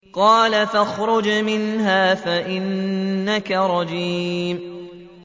قَالَ فَاخْرُجْ مِنْهَا فَإِنَّكَ رَجِيمٌ